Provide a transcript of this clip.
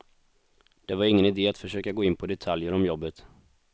Det var ingen idé att försöka gå in på detaljer om jobbet.